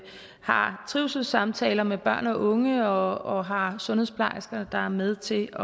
har trivselssamtaler med børn og unge og har sundhedsplejersker der er med til